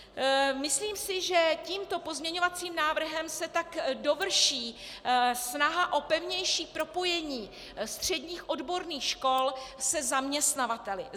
Myslím si, že tímto pozměňovacím návrhem se tak dovrší snaha o pevnější propojení středních odborných škol se zaměstnavateli.